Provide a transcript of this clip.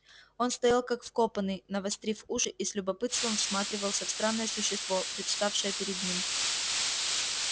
он стоял как вкопанный навострив уши и с любопытством всматривался в странное существо представшее перед ним